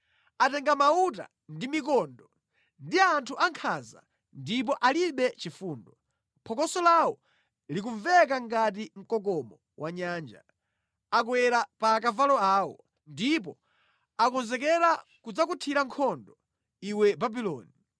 Atenga mauta ndi mikondo; ndi anthu ankhanza ndipo alibe chifundo. Phokoso lawo likumveka ngati mkokomo wa nyanja. Akwera pa akavalo awo, ndipo akonzekera kudzakuthira nkhondo iwe Babuloni.